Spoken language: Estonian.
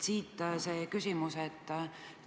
Siit ka küsimus.